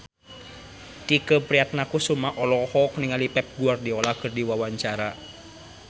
Tike Priatnakusuma olohok ningali Pep Guardiola keur diwawancara